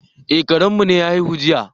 Eh, Karen mu ya haihu jiya.